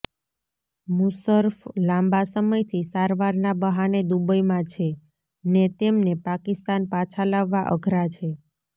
મુશર્રફ લાંબા સમયથી સારવારના બહાને દુબઈમાં છે ને તેમને પાકિસ્તાન પાછા લાવવા અઘરા છે